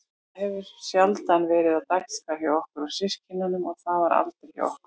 Það hefur sjaldan verið á dagskrá hjá okkur systkinunum og var það aldrei hjá okkur